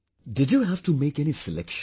Did you have to make any selection